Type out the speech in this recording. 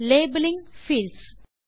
labelling fields